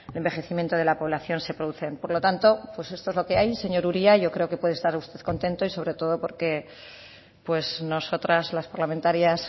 envejecimiento de la población se producen por lo tanto pues esto es lo que hay señor uria yo creo que puede estar usted contento y sobre todo porque pues nosotras las parlamentarias